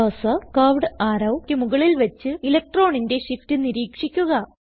cursor curved arrowക്ക് മുകളിൽ വച്ച് ഇലക്ട്രോണിന്റെ shift നിരീക്ഷിക്കുക